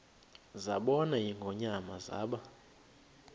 zabona ingonyama zaba